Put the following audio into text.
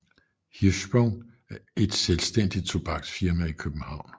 Hirschsprung et selvstændigt tobaksfirma i København